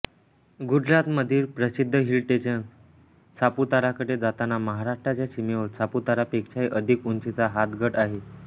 गुजरातमधील प्रसिद्ध हिलस्टेशन सापुताराकडे जाताना महाराष्ट्राच्या सीमेवर सापुतारापेक्षाही अधिक उंचीचा हातगड आहे